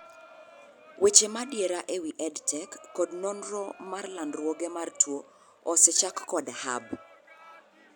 Weche madiera ewi EdTech kod nonro mar landruoge mar tuo ose chak kod hub